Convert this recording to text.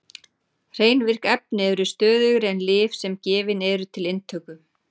Hrein virk efni eru stöðugri en lyf sem gefin eru til inntöku.